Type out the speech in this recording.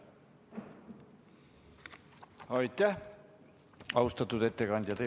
Aitäh, austatud ettekandja!